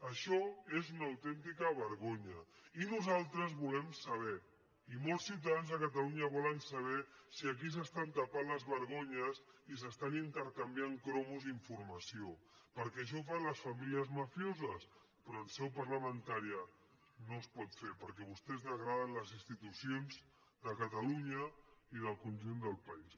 això és una autèntica vergonya i nosaltres volem saber i molts ciutadans de catalunya volen saber si aquí s’estan tapant les vergonyes i s’estan intercanviant cromos d’informació perquè això ho fan les famílies mafioses però en seu parlamentària no es pot fer perquè vostès degraden les institucions de catalunya i del conjunt del país